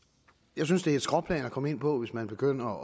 jeg synes det er et skråplan at komme ind på hvis man begynder at